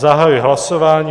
Zahajuji hlasování.